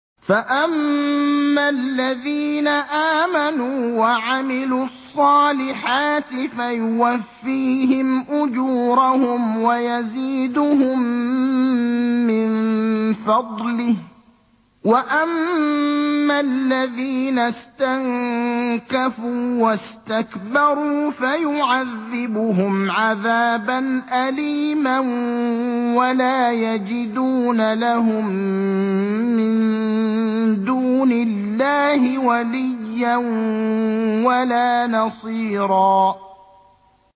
فَأَمَّا الَّذِينَ آمَنُوا وَعَمِلُوا الصَّالِحَاتِ فَيُوَفِّيهِمْ أُجُورَهُمْ وَيَزِيدُهُم مِّن فَضْلِهِ ۖ وَأَمَّا الَّذِينَ اسْتَنكَفُوا وَاسْتَكْبَرُوا فَيُعَذِّبُهُمْ عَذَابًا أَلِيمًا وَلَا يَجِدُونَ لَهُم مِّن دُونِ اللَّهِ وَلِيًّا وَلَا نَصِيرًا